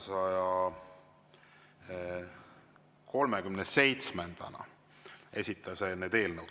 –, 337-ndana need eelnõud.